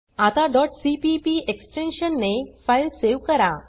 आता cpp extension ने file save करा